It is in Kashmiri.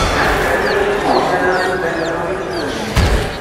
میانہِ کیٚپِٹٕل سُمال فاینانٛس بیٚنٛک اکاونٹٕچ بیلنس کیٛاہ چھِ؟